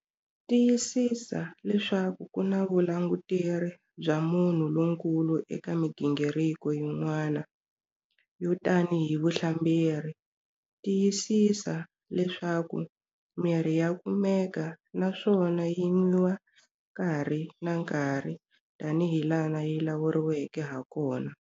Tiyisisa leswaku ku na vulanguteri bya munhu lonkulu eka migingiriko yin'wana, yo tanihi vuhlamberi. Tiyisisa leswaku mirhi ya kumeka naswona yi nwiwa nkarhi na nkarhi tanihilaha yi lawuleriweke hakona.